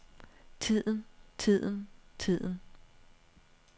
tiden tiden tiden